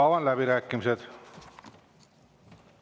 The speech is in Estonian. Avan läbirääkimised.